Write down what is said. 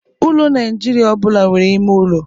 Ụlọ Nigeria ọ bụla nwere. ime ụlọ